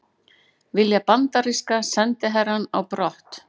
Vilja bandaríska sendiherrann á brott